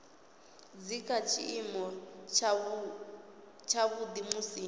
dzi kha tshiimo tshavhuḓi musi